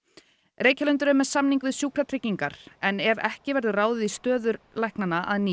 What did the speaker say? Reykjalundur er með samning við Sjúkratryggingar en ef ekki verður ráðið í stöður læknanna að nýju